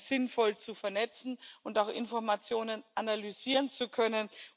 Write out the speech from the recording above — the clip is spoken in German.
sinnvoll zu vernetzen und auch Informationen analysieren zu können.